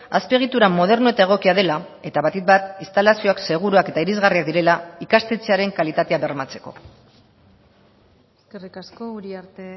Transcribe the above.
azpiegitura moderno eta egokia dela eta batik bat instalazioak seguruak eta irisgarriak direla ikastetxearen kalitatea bermatzeko eskerrik asko uriarte